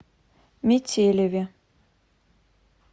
метелеве